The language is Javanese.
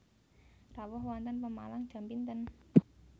Rawuh wonten Pemalang jam pinten?